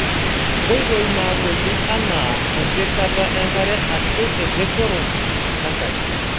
Nkoitoi naagoli anaa empikata enkare aashu ereshoro enkare .